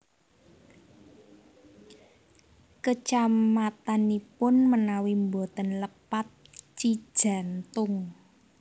Kecamatanipun menawi mboten lepat Cijantung